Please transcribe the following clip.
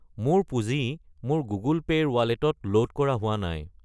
মোৰ পুঁজি মোৰ গুগল পে' ৰ ৱালেটত ল'ড কৰা হোৱা নাই।